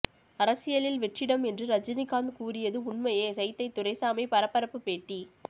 அரசியலில் வெற்றிடம் என்று ரஜினிகாந்த் கூறியது உண்மையே சைதை துரைசாமி பரபரப்பு பேட்டி